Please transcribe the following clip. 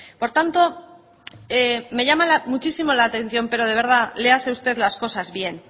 por tanto me llama muchísimo la atención pero de verdad léase usted las cosas bien